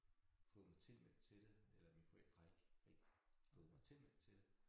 Fået tilmeldt til det eller mine forældre har ikke ikke fået mig tilmeldt til det